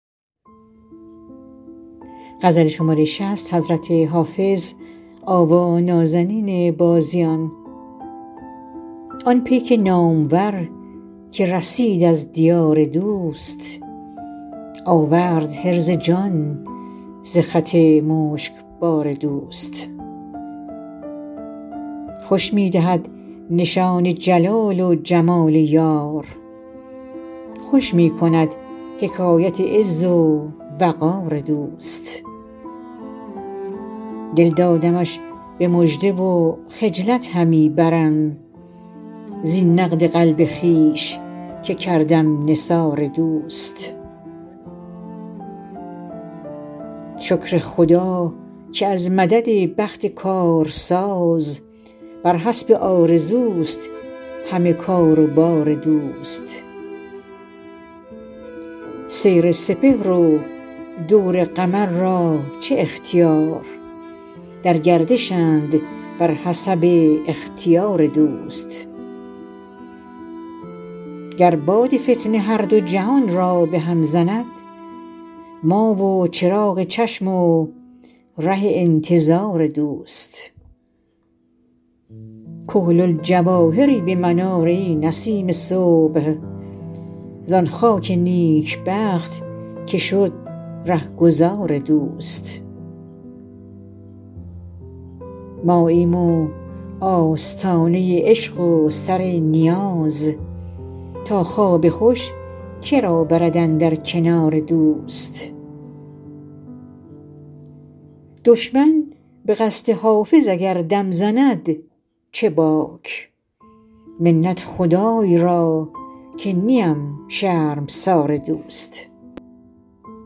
آن پیک نامور که رسید از دیار دوست آورد حرز جان ز خط مشکبار دوست خوش می دهد نشان جلال و جمال یار خوش می کند حکایت عز و وقار دوست دل دادمش به مژده و خجلت همی برم زین نقد قلب خویش که کردم نثار دوست شکر خدا که از مدد بخت کارساز بر حسب آرزوست همه کار و بار دوست سیر سپهر و دور قمر را چه اختیار در گردشند بر حسب اختیار دوست گر باد فتنه هر دو جهان را به هم زند ما و چراغ چشم و ره انتظار دوست کحل الجواهری به من آر ای نسیم صبح زان خاک نیکبخت که شد رهگذار دوست ماییم و آستانه عشق و سر نیاز تا خواب خوش که را برد اندر کنار دوست دشمن به قصد حافظ اگر دم زند چه باک منت خدای را که نیم شرمسار دوست